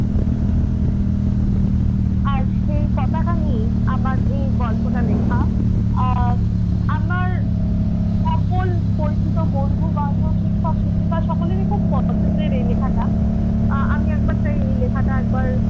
আর সেই পতাকা নিয়েই আমার এই গল্পটা লেখা। আহ আমার সকল পরিচিত বন্ধুবান্ধব শিক্ষক শিক্ষিকা সকলেরই খুব পছন্দের এই লিখাটা। আহ আমি একবার তাই এই লিখাটা